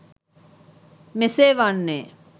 මෙසේ වන්නේ